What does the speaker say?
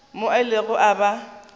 mo a ilego a ba